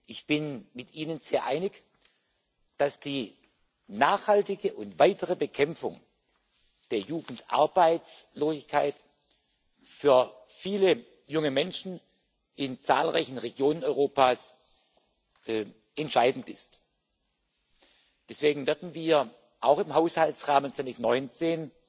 Ich bin mit Ihnen sehr einig, dass die nachhaltige und weitere Bekämpfung der Jugendarbeitslosigkeit für viele junge Menschen in zahlreichen Regionen Europas entscheidend ist. Deswegen werden wir auch im Haushaltsrahmen 2019